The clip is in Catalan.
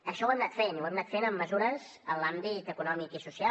això ho hem anat fent i ho hem anat fent amb mesures en l’àmbit econòmic i social